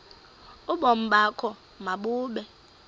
ubomi bakho mabube